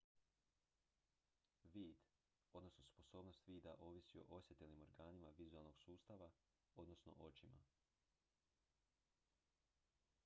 vid odnosno sposobnost vida ovisi o osjetilnim organima vizualnog sustava odnosno očima